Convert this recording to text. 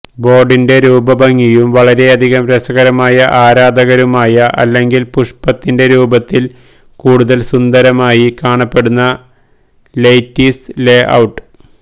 ബോർഡിന്റെ രൂപഭംഗിയും വളരെയധികം രസകരമായ ആരാധകരുമായ അല്ലെങ്കിൽ പുഷ്പത്തിന്റെ രൂപത്തിൽ കൂടുതൽ സുന്ദരമായി കാണപ്പെടുന്ന ലെയ്റ്റീസ് ലേഔട്ട്